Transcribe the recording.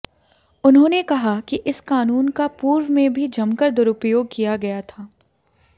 उन्होंने कहा कि इस कानून का पूर्व में भी जमकर दुरुपयोग किया गया था